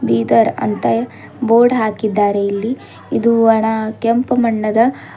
ಬೀದರ್ ಅಂತ ಬೋರ್ಡ್ ಹಾಕಿದ್ದಾರೆ ಇಲ್ಲಿ ಇದು ಅಣ ಕೆಂಪು ಮಣ್ಣದ--